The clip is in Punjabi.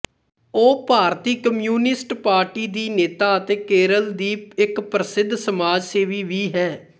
ਉਹ ਭਾਰਤੀ ਕਮਿਊਨਿਸਟ ਪਾਰਟੀ ਦੀ ਨੇਤਾ ਅਤੇ ਕੇਰਲ ਦੀ ਇੱਕ ਪ੍ਰਸਿੱਧ ਸਮਾਜ ਸੇਵੀ ਵੀ ਹੈ